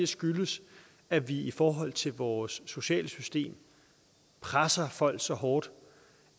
skyldes at vi i forhold til vores sociale system presser folk så hårdt